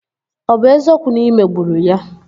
Ọ bụ eziokwu na ị megburu ya?